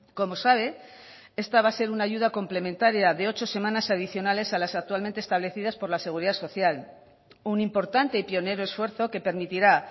como sabe esta va a ser una ayuda complementaria de ocho semanas adicionales a las actualmente establecidas por la seguridad social un importante y pionero esfuerzo que permitirá